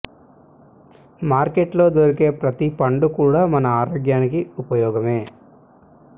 market లో దొరికే ప్రతీ పండు కూడా మన ఆరోగ్యానికి ఉపయోగమే